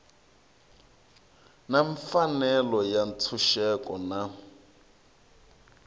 na mfanelo ya ntshunxeko na